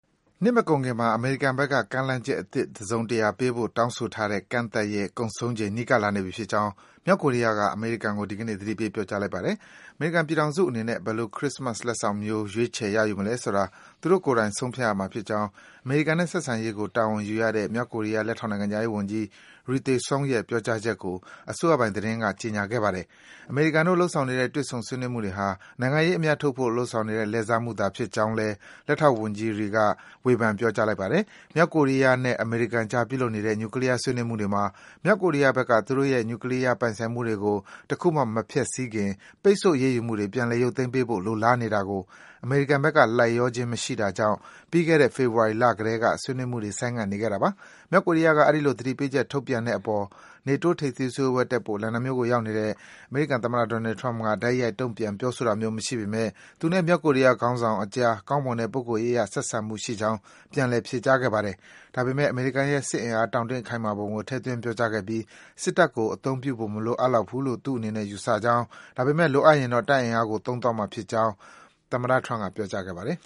နှစ်မကုန်ခင်မှာ အမေရိကန်ဘက်က ကမ်းလှမ်းအသစ် တစုံတရာပေးဖို့ တောင်းဆိုထားတဲ့ ကန့်သတ်ရက် ကုန်ဆုံးချိန် နီးကပ်လာနေပြီဖြစ်ကြောင်း မြောက်ကိုရီးယားက အမေရိကန်ကို ဒီကနေ့ သတိပေး ပြောကြားလိုက်ပါတယ်။ အမေရိကန်ပြည်ထောင်စုအနေနဲ့ ဘယ်လို ခရစ္စမတ် လက်ဆောင်မျိုး ရွေးချယ် ရယူမလဲဆိုတာ သူတို့ကိုယ်တိုင် ဆုံးဖြတ်ရမှာဖြစ်ကြောင်း အမေရိကန်နဲ့ ဆက်ဆံရေးကို တာဝန်ယူရတဲ့ မြောက်ကိုရီးယား လက်ထောက်နိုင်ငံခြားရေးဝန်ကြီး Ri Thae Song ရဲ့ ပြောကြားချက်ကို အစိုးရပိုင် သတင်းဌာနက ကြေညာခဲ့ပါတယ်။ အမေရိကန်တို့ လုပ်ဆောင်နေတဲ့ တွေ့ဆုံ ဆွေးနွေးမှုတွေဟာ နိုင်ငံရေးအမြတ်ထုတ်ဖို့ လုပ်ဆောင်နေတဲ့ လှည့်စားမှုသာဖြစ်ကြောင်းလည်း လက်ထောက်ဝန်ကြီး Ri က ဝေဖန် ပြောကြားလိုက်ပါတယ်။ မြောက်ကိုရီးယားနဲ့ အမေရိကန်အကြား ပြုလုပ်နေတဲ့ နျူကလီးယားဆွေးနွေးမှုတွေမှာ မြောက်ကိုရီးယားဘက်က သူတို့ရဲ့ နျူကလီးယား ပိုင်ဆိုင်မှုတွေကို တခုမှ မဖျက်ဆီးခင် ပိတ်ဆို့အရေးယူမှုတွေ ပြန်လည် ရုပ်သိမ်းပေးဖို့ လိုလားနေတာကို အမေရိကန်ဘက်က လိုက်လျောခြင်း မရှိတာကြောင့် ပြီးခဲ့တဲ့ ဖေဖော်ဝါရီလကတည်းက ဆွေးနွေးမှုတွေ ဆိုင်ငံ့နေခဲ့တာပါ။ မြောက်ကိုရီးယားက အဲဒီလို သတိပေးချက် ထုတ်ပြန်တဲ့အပေါ် နေတိုး ထိပ်သီးစည်းဝေးပွဲ တက်ဖို့ လန်ဒန်မြို့ကို ရောက်နေတဲ့ အမေရိကန်သမ္မတ Donald Trump က တိုက်ရိုက်တုံ့ပြန် ပြောဆိုတာမျိုး မရှိပေမယ့် သူနဲ့ မြောက်ကိုရီးယား ခေါင်းဆောင်အကြား ကောင်းမွန်တဲ့ ပုဂ္ဂိုလ်ရေးအရ ဆက်ဆံမှုရှိကြောင်း ပြန်လည် ဖြေကြားခဲ့ပါတယ်။ ဒါပေမဲ့ အမေရိကန်ရဲ့ စစ်အား တောင့်တင်းခိုင်မာပုံကို ထည့်သွင်း ပြောကြားခဲ့ပြီး စစ်တပ်ကို အသုံးပြုဖို့ မလိုအပ်ဘူးလို့ ယူဆကြောင်း ဒါပေမဲ့ လိုအပ်ရင်တော့ တပ်အင်အားကို သုံးသွားမှာဖြစ်ကြောင်း ပြောကြားခဲ့ပါတယ်